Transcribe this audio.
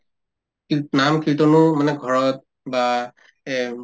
নাম-কীৰ্তনো মানে কৰা হয় বা এ উম